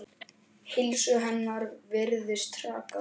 Heilsu hennar virðist hraka.